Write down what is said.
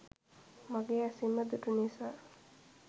මගේ ඇසින්ම දුටු නිසා